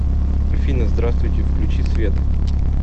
афина здравствуйте включи свет